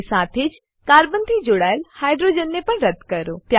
અને સાથે જ કાર્બન થી જોડાયેલ હાઇડ્રોજન ને પણ રદ્દ કરો